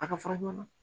A ka fara ɲɔɔn